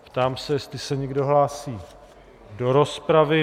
Ptám se, jestli se někdo hlásí do rozpravy.